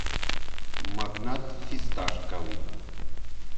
магнат фисташковый